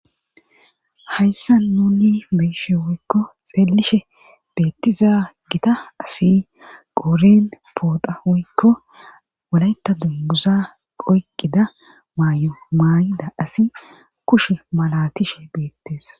Hayssa nuni beishe woykko xeelishe beettiza gita asi qouren pooda woykko walayta dumbuza qoyqqida maay'o maay'ida asi kushe malatishe beettes